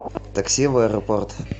такси в аэропорт